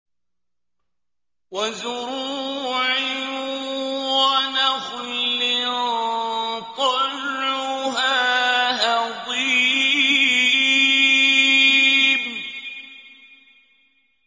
وَزُرُوعٍ وَنَخْلٍ طَلْعُهَا هَضِيمٌ